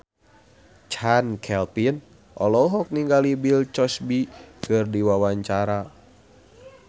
Chand Kelvin olohok ningali Bill Cosby keur diwawancara